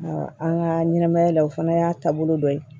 an ka ɲɛnɛmaya la o fana y'a taabolo dɔ ye